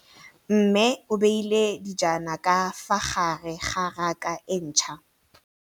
Mmê o beile dijana ka fa gare ga raka e ntšha.